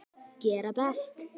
Gera best.